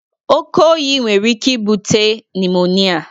Oke oyi nwere ike ibute nimonịa